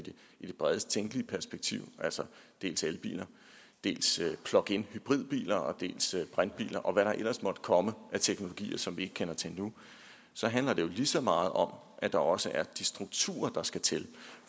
i det bredest tænkelige perspektiv altså dels elbiler dels pluginhybridbiler dels brintbiler og hvad der ellers måtte komme af teknologier som vi ikke kender til nu så handler det lige så meget om at der også er de strukturer der skal til